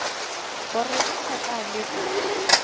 gore ge a ka leka